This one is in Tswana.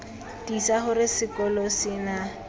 tiisa gore sekolo se na